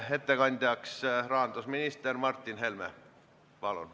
Reformierakonna fraktsioon teeb ettepaneku seaduseelnõu 47 teine lugemine katkestada.